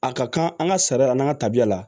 A ka kan an ka sariya la n'an ka tabiya la